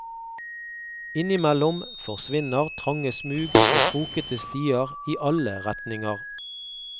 Innimellom forsvinner trange smug og krokete stier i alle retninger.